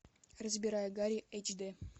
разбирая гарри эйч д